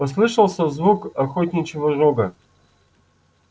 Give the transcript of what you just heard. послышался звук охотничьего рога